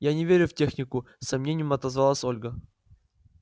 я не верю в технику с сомнением отозвалась ольга